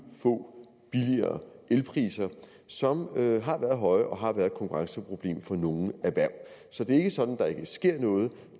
få billigere elpriser som har været høje og har været et konkurrenceproblem for nogle erhverv så det er ikke sådan at der ikke sker noget